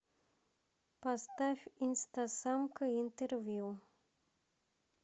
поставь инстасамка интервью